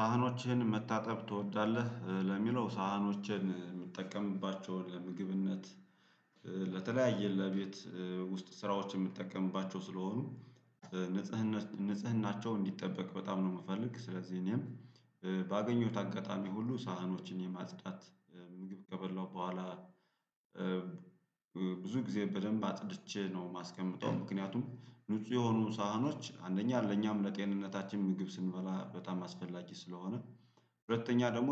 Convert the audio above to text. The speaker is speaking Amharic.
ሳህኖችህን መታጠብ ትወዳለህ ለሚለው ሳህኖችህን ምጠቀምባቸውን ለምግብነት ለተለያየ ለቤት ውስጥ ስራዎች ምጠቀምባቸው ስለሆኑ ንጽህናን ንጽህናቸውን እንዲጠበቅ በጣም ነው ምፈልግ። ስለዚህ እኔም ባገኘሁት አጋጣሚ ሁሉ ሳህኖችን የማጽዳት ምግብ ከበላው በኋላ ብዙ ጊዜ በደንብ አጽድቼ ነው ማስቀምጠው። ምክንያቱም ንጹህ የሆኑ ሳህኖች አንደኛ ለኛም ለጤንነታችን ምግብ ስንበላ በጣም አስፈላጊ ስለሆነ ሁለተኛ ደግሞ